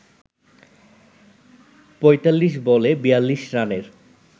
৪৫ বলে ৪২ রানের